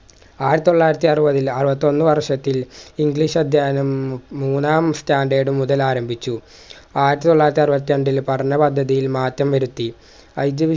ആയിതൊള്ളായിരത്തി അറുപതിൽ അറുപത്തൊന്ന് വർഷത്തിൽ english അധ്യയനം മൂന്നാം standard മുതലാരംഭിച്ചു ആയിതൊള്ളായിരത്തി അറുപത്രണ്ടില് പഠന പദ്ധതിയിൽ മാറ്റം വരുത്തി